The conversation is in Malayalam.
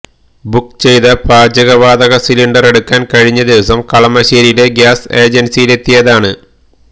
ബുക്ക് ചെയ്ത് പാചകവാതക സിലണ്ടറെടുക്കാൻ കഴിഞ്ഞ ദിവസം കളമശ്ശേരിയിലെ ഗ്യാസ് ഏജൻസിയിലെത്തിയതാണ്